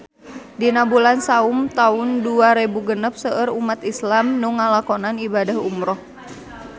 Dina bulan Saum taun dua rebu genep seueur umat islam nu ngalakonan ibadah umrah